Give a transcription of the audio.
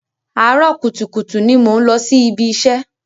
Àárọ̀ kùtùkùtù ni mò ń lọ sí ibi iṣẹ́.